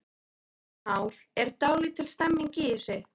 Kristján Már: Er dálítil stemning í þessu?